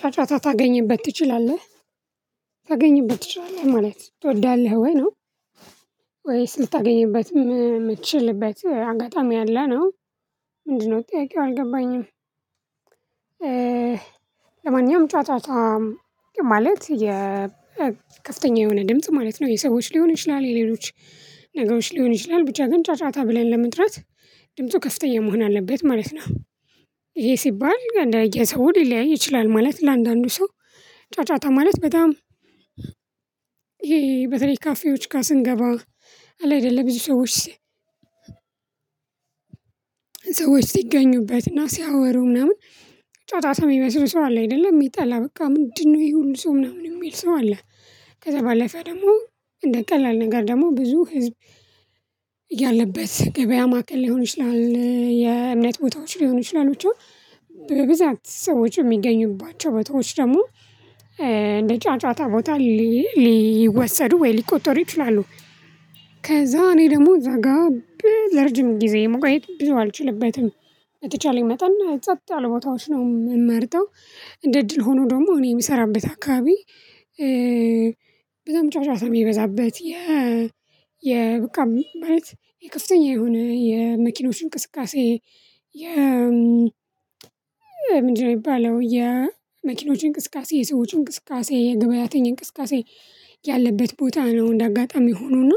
ጫጫታ ታገኝበት ትችላለህ ታገኝበት ትችላለህ ማለት ትወዳለህ ወይ ነው ወይስ ልታገኝበትም የምትችልበት አጋጣሚ አለ ነው? ምንድነው ጠይቄው አልገባኝም። ለማንኛውም ጨዋታ ማለት የከፍተኛ የሆነ ድምጽ ማለት ነው። የሰዎች ሊሆን ይችላል የሌሎች ነገሮች ሊሆን ይችላል ብቻ ግን ጫጫታ ብለን ለመጥራት ድምፁ ከፍተኛ መሆን አለበት ማለት ነው። ይሄ ሲባል ለየሰው ሊለያይ ይችላል ማለት ለአንዳንዱ ሰው ጫጫታ ማለት በጣም። ይሄ በተለይ ካፌዎች ጋር ስንገባ አለ አይደለም ብዙ ሰዎች። ሰዎች ሲገኙበትና ሲያወሩ ምናምን ጫጫታ የሚመስሉ ሰው አለ አይደለም የሚጠላ በቃ ምንድነው ይሄን ሰው ምናምን የሚል ሰው አለ። ከዛ ባለፈ ደግሞ እንደ ቀላል ነገር ደግሞ ብዙ ህዝብ። ያለበት ገበያ ማዕከል ሊሆን ይችላል የእምነት ቦታዎች ሊሆኑ ይችላሉ ብቻ በብዛት ሰዎች የሚገኙባቸው ቦታዎች ደግሞ እንደ ጫጫታ ቦታ ሊወሰዱ ወይ ሊቆጠሩ ይችላሉ። ከዛ እኔ ደግሞ እዛ ጋር ለርጅም ጊዜ መቆየት ብዙ አልችልበትም። በተቻለኝ መጠን እና ጸጥ ያለ ቦታዎች ነው የምመርጠው። እንደ እድል ሆኖ ደግሞ እኔ የምሰራበት አካባቢ። በደንብ ጫጫታ የሚበዛበት የ በቃ ማለት የከፍተኛ የሆነ የመኪኖች እንቅስቃሴ። የ ምንድነው የሚባለው የመኪኖች እንቅስቃሴ የሰዎች እንቅስቃሴ የገብያተኛ እንቅስቃሴ። ያለበት ቦታ ነው እንደ አጋጣሚ ሆኖ እና።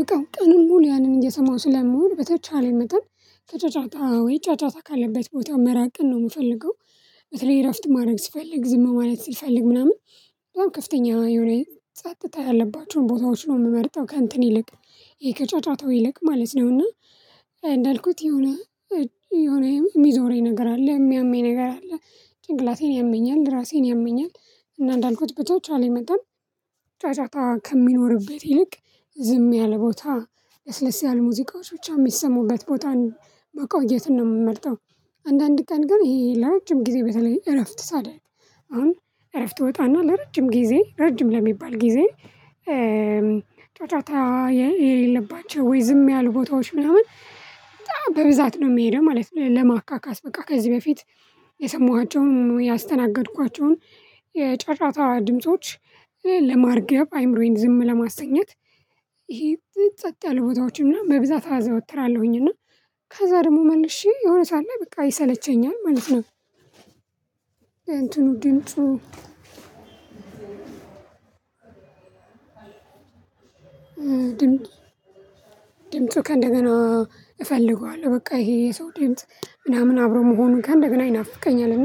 በቃ ቀኑን ሙሉ ያንን እየሰማሁ ስለምውል በተቻለ መጠን ከጫጫታ ወይ ጫጫታ ካለበት ቦታ መራቅን ነው የምፈልገው። በተለይ እረፍት ማድረግ ስፈልግ ዝም ማለት ስፈልግ ምናምን በጣም ከፍተኛ የሆነ ጸጥታ ያለባቸውን ቦታዎች ነው የምመርጠው። ከእንትን ይልቅ ይሄ ከጫጫታው ይልቅ ማለት ነውና። እንዳአልኩት የሆነ የሆነ የሚዞረኝ ነገር አለ የሚያምኝ ነገር አለ። ጭንቅላቴን ያምኛል ራሴን ያምኛል። እና እንዳልኩት በተቻለኝ አለ መጠን። ጫጫታ ከሚኖርበት ይልቅ ዝም ያለ ቦታ ለስለስ ያለ ሙዚቃዎች ብቻ የሚሰሙበት ቦታ ነው መቆየትን ነው የምመርጠው። አንዳንድ ቀን ግን ይሄ ለረጅም ጊዜ በተለይ እረፍት ሳደረግ አሁን እረፍት እወጣና ለረጅም ጊዜ ረጅም ለሚባል ጊዜ። ጫጫታ የሌለባቸው ወይ ዝም ያሉ ቦታዎች ምናምን በጣም በብዛት ነው የሚሄደው ማለት ነው። ለማካካስ በቃ ከዚህ በፊት የሰሟቸውን ያስተናገድኳቸውን የጫጫታ ድምጾች ለማርገብ አይምሮዬን ዝም ለማሰኘት። ይሄ ጸጥ ያለ ቦታዎች እና በብዛት አዘወትራለሁኝ እና ከዛ ደግሞ መልሼ የሆነ ሰዓት ላይ በቃ ይሰለቸኛል ማለት ነው። እንተኑ ድምፁ። ድምጽ ድምፁ ከእንደገና እፈልገዋለሁ በቃ ይሄ የሰው ድምጽ ምናምን አብሮ መሆኑን ከእንደገና ይናፍቀኛል እና